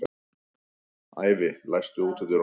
Ævi, læstu útidyrunum.